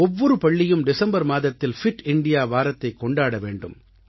ஒவ்வொரு பள்ளியும் டிசம்பர் மாதத்தில் பிட் இந்தியா வாரத்தைக் கொண்டாட வேண்டும்